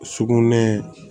Sugunɛ